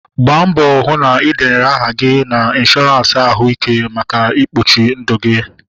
Gbaa mbọ hụ na ị denyere aha gị na ịnshọransị ahụ ike maka ikpuchi ndụ gi